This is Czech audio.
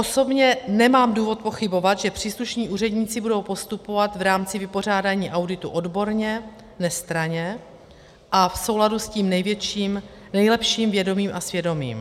Osobně nemám důvod pochybovat, že příslušní úředníci budou postupovat v rámci vypořádání auditu odborně, nestranně a v souladu s tím nejlepším vědomím a svědomím.